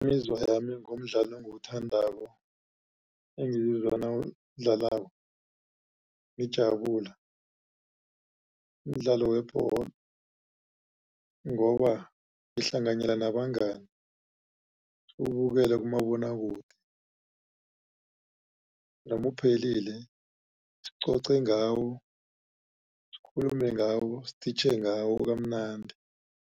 Imizwa yami ngomdlalo engiwuthandako engiwuzwa nangidlalako ngijabula mdlalo webholo. Ngoba ngihlanganyela nabangani siwubukele kumabonwakude noma uphelile sicoce ngawo sikhulume ngawo siditjhe ngawo kamanandi.